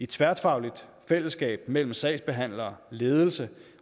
tværfagligt fællesskab mellem sagsbehandlere ledelse